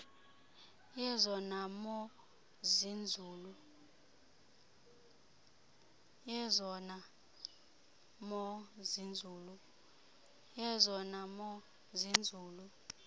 yezona mo zinzulu